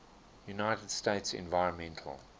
united states environmental